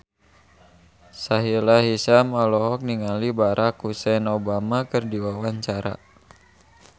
Sahila Hisyam olohok ningali Barack Hussein Obama keur diwawancara